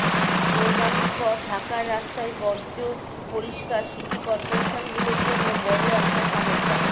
কোরবানির পর ঢাকার রাস্তায় বর্জ্য পরিস্কার সিটি করপোরেশনগুলোর জন্য বড় একটা সমস্যা